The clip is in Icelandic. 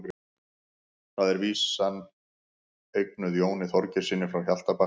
Þar er vísan eignuð Jóni Þorgeirssyni frá Hjaltabakka.